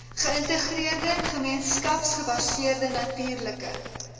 geïntegreerde gemeenskapsgebaseerde natuurlike